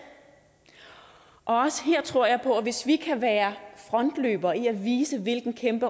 også her tror jeg på at hvis vi kan være frontløbere i at vise hvilken kæmpe